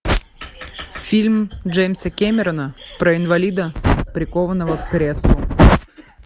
фильм джеймса кэмерона про инвалида прикованного к креслу